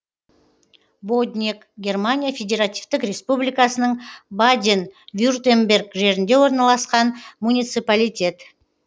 боднег германия федеративтік республикасының баден вюртемберг жерінде орналасқан муниципалитет